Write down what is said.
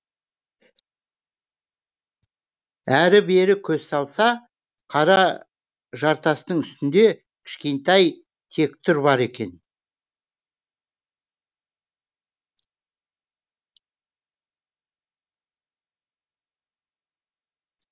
әрі бері көз салса қара жартастың үстінде кішкентай тектұр бар екен